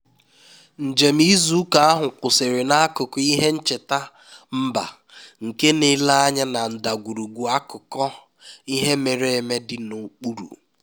njem izu ụka ahụ kwụsịrị n'akụkụ ihe ncheta mba nke na-ele anya na ndagwurugwu akụkọ ihe mere eme dị n'okpuru